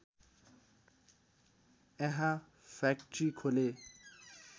यहाँ फ्याक्ट्री खोले